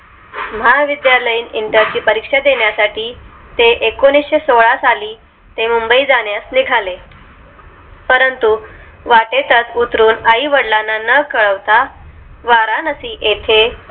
महाविद्यालयीन inter ची परीक्षा देण्यासाठी ते एकोणीशेसोळा साली ते मुंबई जाण्यास निघाले परंतु वाटे तच उतरुन आई वडिलांना कळवता वाराणसी येथे